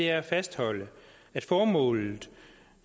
er at fastholde at formålet